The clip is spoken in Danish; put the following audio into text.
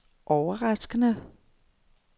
overraskende